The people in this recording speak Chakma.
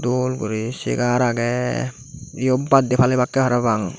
dol guri segar agey yot baddey palebakke parapang.